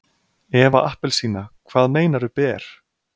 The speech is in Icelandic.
Eva appelsína, hvað meinaru ber?